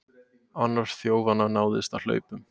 Annar þjófanna náðist á hlaupum